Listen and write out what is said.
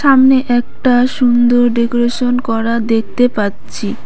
সামনে একটা সুন্দর ডেকোরেশন করা দেখতে পাচ্ছি।